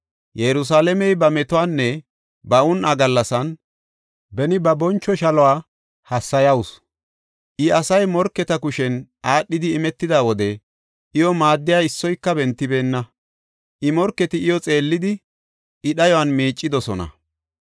Yerusalaamey ba metuwanne ba un7a gallasan, beni ba boncho shaluwa hassayawusu. I, asay morketa kushen aadhidi imetida wode, iyo maaddiya issoyka bentibeenna. I morketi iyo xeellidi, I dhayuwan miicidosona.